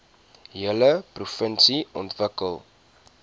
hele provinsie ontwikkel